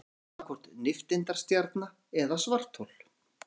Eftir situr annaðhvort nifteindastjarna eða svarthol.